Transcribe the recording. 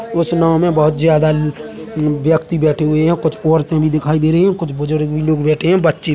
उस नाव में बहुत ज्यादा ल अ व्यक्ति बैठे हुए है कुछ औरतें भी दिखाई दे रही है और कुछ बुजुर्ग भी लोग बैठे है बच्चे--